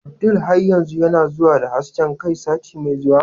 Abdul har yanzu yana zuwa da hasken kai sati mai zuwa?